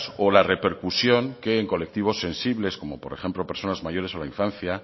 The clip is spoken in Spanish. o la repercusión que en colectivos sensibles como por ejemplo personas mayores o la infancia